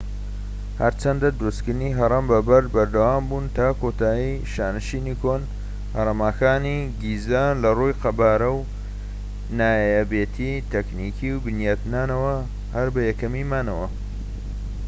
هەرچەندە دروستکردنی هەڕەم بە بەرد بەردەوامبوو تا کۆتایی شانشینی کۆن هەرەمەکانی گیزە لە ڕووی قەبارە و نایابێتی تەکنیکی و بنیادنانەوە هەر بە یەکەمی مانەوە